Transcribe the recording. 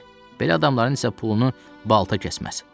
Belə adamların isə pulunu balta kəsməz.